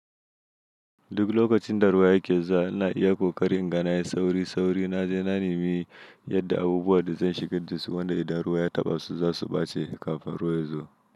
Duk lokacinda ruwa yake zuwa, ina iya ƙoƙari inga nayi sauri-sauri naje na nemi yadda abubuwanda zan shigar dasu, wanda idan ruwa ya taɓa su zasu ɓa ce kafin ruwa ya zo.